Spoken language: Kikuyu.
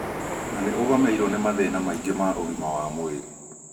na nĩ ũgũmĩirwo nĩ mathĩna maingĩ ma ũgima wa mwĩrĩ